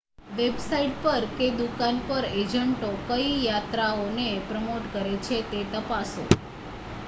website પર કે દુકાન પર એજન્ટો કઈ યાત્રાઓને પ્રમોટ કરે છે તે તપાસો